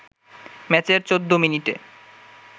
ম্যাচের ১৪ মিনিটে